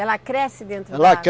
Ela cresce dentro